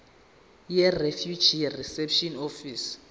yirefugee reception office